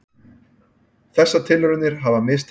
Þessar tilraunir hafa mistekist.